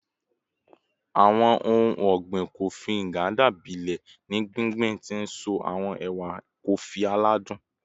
Awọn ohun ọgbin Kofi Nganda gbilẹ ni gbingbin, ti nso awọn ewa kofi aladun